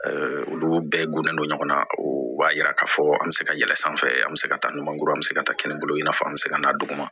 olu bɛɛ gulonnen don ɲɔgɔn na o b'a yira k'a fɔ an bɛ se ka yɛlɛn sanfɛ an bɛ se ka taa ɲumankuru an bɛ se ka taa kɛnɛ bolo i n'a fɔ an bɛ se ka n'a duguma